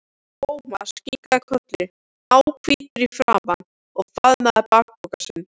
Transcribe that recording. Thomas kinkaði kolli, náhvítur í framan, og faðmaði bakpokann sinn.